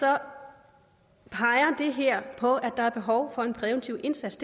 her på at der er behov for en præventiv indsats